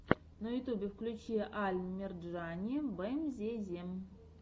на ютьюбе включи аль мерджани бемзезем